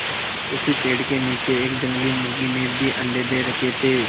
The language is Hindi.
उसी पेड़ के नीचे एक जंगली मुर्गी ने भी अंडे दे रखें थे